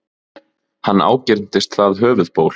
Hann ágirntist það höfuðból.